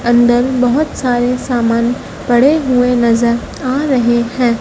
अंदर बहोत सारे सामान पड़े हुए नजर आ रहे हैं।